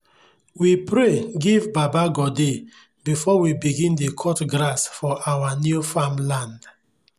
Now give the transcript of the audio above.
we pray give baba godey before we bign dey cut grass for our new farmland